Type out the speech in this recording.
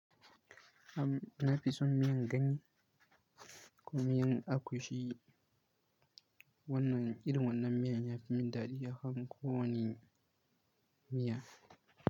Na fi son miyan ganye ko miyan agushi. Wannan irin wannan miyan ya fi min daɗi akan kowani miya.